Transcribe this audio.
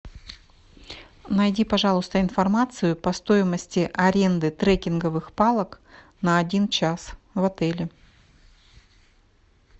найди пожалуйста информацию по стоимости аренды трекинговых палок на один час в отеле